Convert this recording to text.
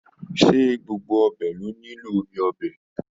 Se gbogbo ọbẹ lo nilo omi ọbẹ?